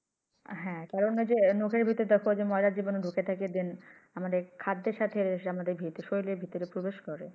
হ্যাঁ কারন ঐ যে নখের ভিতর দেখো যে ময়লা জীবানু ঢুকে থাকে then আমদের খাদ্যের সাথে শরীরের ভিতরে প্রবেশ করে